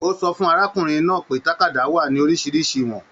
O sọ̀ fun arákùnrin náà pé tàkádá wà ní oríṣiríṣi ìwọ̀n.